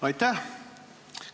Aitäh!